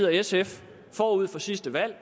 og sf forud for sidste valg